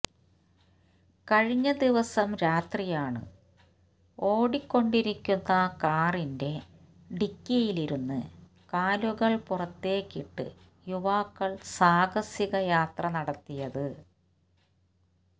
കഴിഞ്ഞ ദിവസം രാത്രിയാണ് ഓടികൊണ്ടിരിക്കുന്ന കാറിന്റെ ഡിക്കിയിലിരുന്ന് കാലുകള് പുറത്തേക്കിട്ട് യുവാക്കള് സാഹസിക യാത്ര നടത്തിയത്